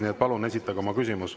Nii et palun esitage oma küsimus.